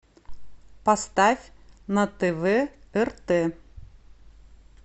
поставь на тв рт